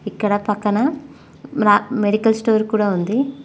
ఇక్కడ పక్కన medical store కూడ ఉంది.